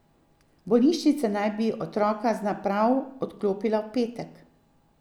Bolnišnica naj bi otroka z naprav odklopila v petek.